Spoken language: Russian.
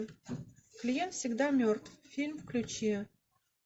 клиент всегда мертв фильм включи